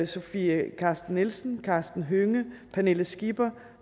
sofie carsten nielsen karsten hønge pernille skipper